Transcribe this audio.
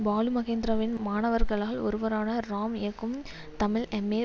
பாலுமகேந்திராவின் மாணவர்களால் ஒருவரான ராம் இயக்கும் தமிழ் எம்ஏ